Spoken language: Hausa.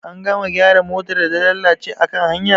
An gama gyara motar da ta lalace akan hanya?